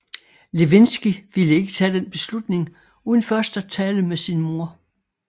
Lewinsky ville ikke tage den beslutning uden først at tale med sin mor